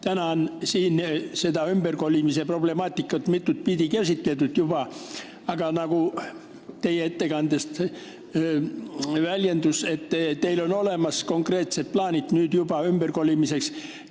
Täna on siin seda ümberkolimise problemaatikat juba mitut pidi käsitletud, aga nagu te oma ettekandes väljendusite, on teil nüüd olemas konkreetsed ümberkolimise plaanid.